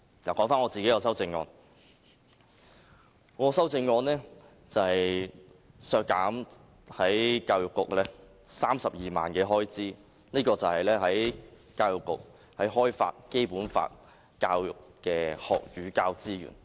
說回我的修正案，我的修正案是削減教育局32萬元開支，這是關於教育局開發《基本法》教育的學與教資源。